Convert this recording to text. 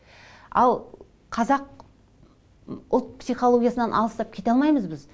ал қазақ ұлт психологиясынан алыстап кете алмаймыз біз